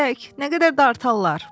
Nə qədər dartarlar?